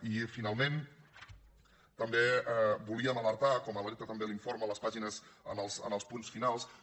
i finalment també volíem alertar com n’alerta també l’informe en les pàgines els punts finals que